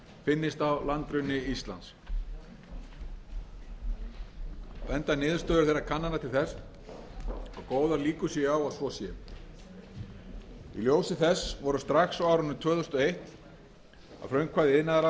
finnist á landgrunni íslands benda niðurstöður þeirra kannana til þess að góðar líkur séu á að svo sé í ljósi þess voru strax á árinu tvö þúsund og eitt að frumkvæði